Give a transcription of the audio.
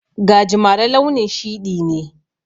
Gajimare launin shiɗi ne.